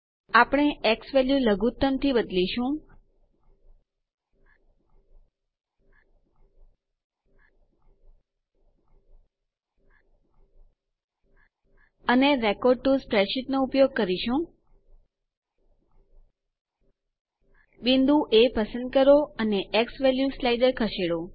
આપણે x value લઘુત્તમ થી બદલીશું અને રેકોર્ડ ટીઓ સ્પ્રેડશીટ ઉપયોગ કરો બિંદુ એ પસંદ કરો અને ઝવેલ્યુ સ્લાઇડર ખસેડો